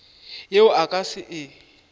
yeo a ka se e